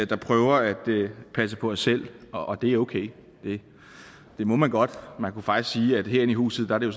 der prøver at passe på os selv og det er okay det må man godt man kunne faktisk sige at herinde i huset er det